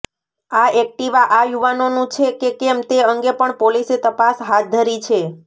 આ એક્ટીવા આ યુવાનોનું છે કે કેમ તે અંગે પણ પોલીસે તપાસ હાથ ધરી છે